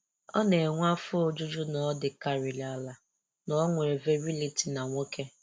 Ọ na-enwe afọ ojuju na ọ dịkarịa ala na o nwere virility na nwoke.